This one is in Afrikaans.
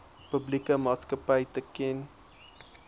publieke maatskapy teken